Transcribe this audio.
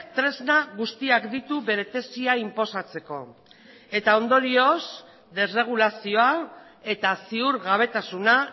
tresna guztiak ditu bere tesia inposatzeko eta ondorioz desregulazioa eta ziurgabetasuna